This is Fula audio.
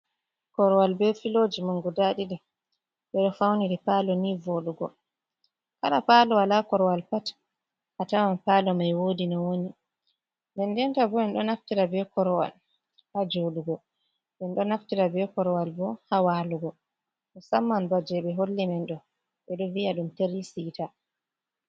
Korowal be filoji mangu guda ɗiɗi, ɓeɗo fauniri palo ni voɗugo, kala palo wala korowal pat a tawan palo mai wodi no woni, den denta bo en ɗo naftira be korowal ha joɗugo, en ɗo naftira be korowal bo ha walugo, musamman ba je ɓe holli men ɗo, ɓe ɗo viya ɗum tiri sita.